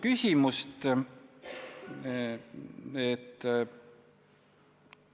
Kõigepealt ma tahaksin sind tänada ja tunnustada, sa oled väga hea põhiseaduskomisjoni istungitest ülevaate andja!